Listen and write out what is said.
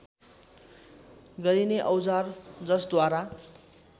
गरिने औजार जसद्वारा